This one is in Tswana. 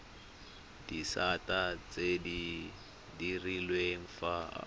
disata tse di direlwang fa